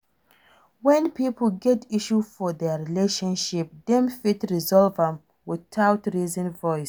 When pipo get issue for their relationship dem fit resolve am without raising voice